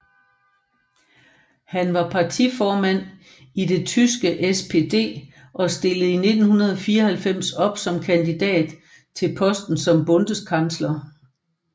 Han var partiformand i det tyske SPD og stillede i 1994 op som kandidat til posten som Bundeskansler